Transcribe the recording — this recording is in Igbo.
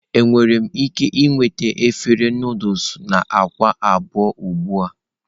Enwere m ike ịnweta efere Nụdụls na akwa abụọ ugbu a?